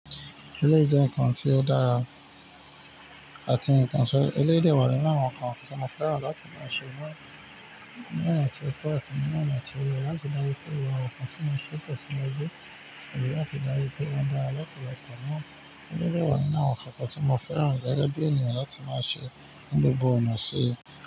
Eléyìí jẹ́ nǹkan tí ó dára àti nǹkan so, eléyìí dẹ wa nínu àwọn nǹkan tí mo fẹ́ràn láti máa ṣe. Mò ńi ona ti o tọ àti ni ona ti o yẹ láti ri daju pé awọn nkan tí mo n ṣe n tẹ́siwaju sọrí ìráfi dári pé wọ́n dára lọpọlọpọ naa Eléyìí dẹ wá nínu àwọn nkàn tí mo fẹ́ràn gẹ́gẹ́ bí ènìyàn láti máa ni gbogbo ona si.